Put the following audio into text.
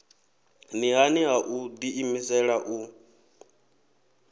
nṱhani ha u ḓiimisela u